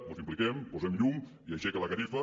mos hi impliquem hi posem llum i aixequem la catifa